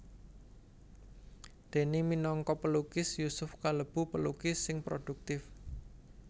Déné minangka pelukis Yusuf kalebu pelukis sing prodhuktif